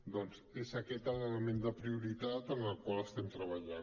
doncs és aquest l’element de prioritat en el qual estem treballant